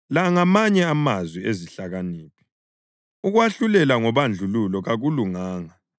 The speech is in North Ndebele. La ngamanye amazwi ezihlakaniphi: Ukwahlulela ngobandlululo kakulunganga: